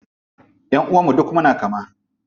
Ƴanʼuwan mu duka muna kama.